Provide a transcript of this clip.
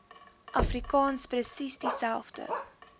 afrikaans presies dieselfde